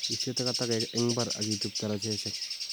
Istei takatakek eng imbar ak ichob darajeshek